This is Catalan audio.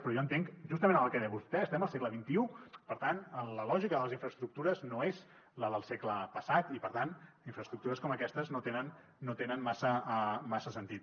però jo entenc justament el que deia vostè estem al segle xxi per tant la lògica de les infraestructures no és la del segle passat i per tant infraestructures com aquestes no tenen massa sentit